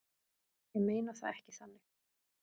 Ég meina það ekki þannig.